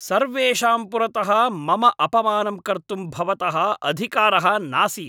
सर्वेषां पुरतः मम अपमानं कर्तुं भवतः अधिकारः नासीत्।